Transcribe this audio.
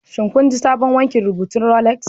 Shin kun ji sabon wankin rubutun Rolex